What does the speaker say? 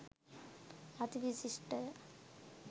අති විශිෂ්ටය.